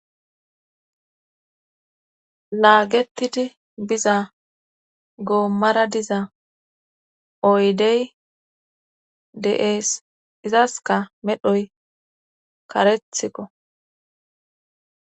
Laagettidi biza goommara diza oydey de7ees izaska medhoy karethikko.